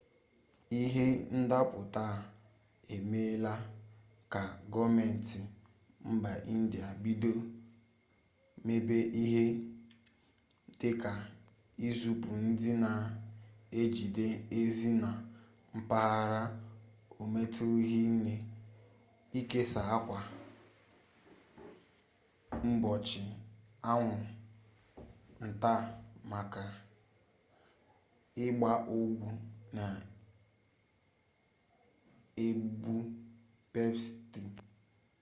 ihe ndaputa a emela ka goomenti mba india bido mebe ihe dika izipu ndi na ejide ezi na mpaghara ometuru hinne ikesa akwa mgbochi anwu nta makwa igba ogwu na-egbu pesti